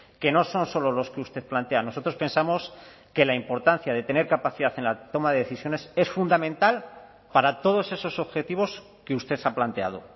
que no son solo los que usted plantea nosotros pensamos que la importancia de tener capacidad en la toma de decisiones es fundamental para todos esos objetivos que usted ha planteado